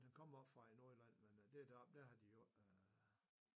Han kommer oppe fra Nordjylland men øh der deroppe der har de jo ikke øh